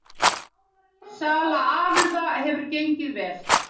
Sala afurða hefur gengið vel